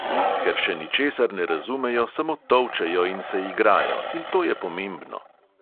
Ker še ničesar ne razumejo, samo tolčejo in se igrajo, in to je pomembno.